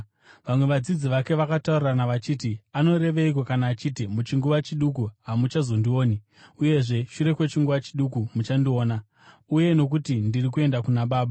Vamwe vadzidzi vake vakataurirana vachiti, “Anoreveiko kana achiti, ‘Muchinguva chiduku hamuchazondioni, uyezve shure kwechinguva chiduku muchandiona,’ uye ‘Nokuti ndiri kuenda kuna Baba’?”